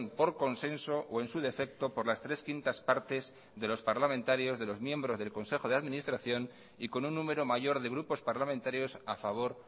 por consenso o en su defecto por las tres quintas partes de los parlamentarios de los miembros del consejo de administración y con un número mayor de grupos parlamentarios a favor